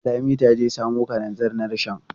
Lami ta je samo kalanzir na rishon.